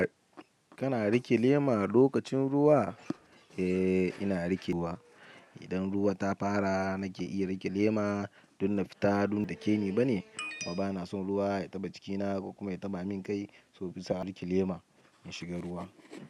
Kana riƙe lema lokacin ruwa? Eh, ina riƙewa. Idan ruwa ta fara nake iya rike lema, don na fita donta kebeta ne kuma bana son ruwa ya taɓa jikina kuma ya taɓa min kai, so bisa in'riƙe lema in shiga ruwa.